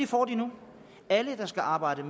får de nu alle der skal arbejde